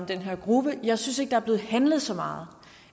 den her gruppe men jeg synes ikke er blevet handlet så meget